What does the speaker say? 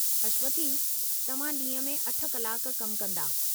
अश्वथी, तव्हां ॾींह में 8 कलाक कमु कंदा।